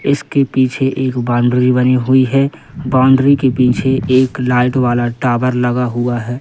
इसके पीछे एक बाउंड्री बनी हुई है बाउंड्री के पीछे एक लाइट वाला टावर लगा हुआ है।